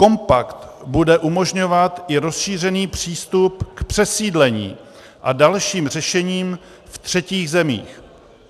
Kompakt bude umožňovat i rozšířený přístup k přesídlení a dalším řešením v třetích zemích.